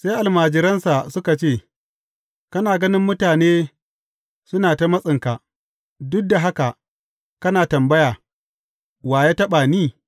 Sai almajiransa suka ce, Kana ganin mutane suna matsinka, duk da haka kana tambaya, Wa ya taɓa ni?’